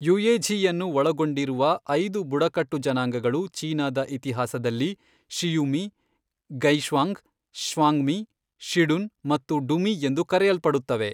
ಯುಯೆಝಿಯನ್ನು ಒಳಗೊಂಡಿರುವ ಐದು ಬುಡಕಟ್ಟು ಜನಾಂಗಗಳು ಚೀನಾದ ಇತಿಹಾಸದಲ್ಲಿ ಷಿಯುಮಿ, ಗೈಷ್ವಾಂಗ್, ಶ್ವಾಂಗ್ಮಿ, ಷಿಡುನ್, ಮತ್ತು ಡುಮಿ ಎಂದು ಕರೆಯಲ್ಪಡುತ್ತವೆ.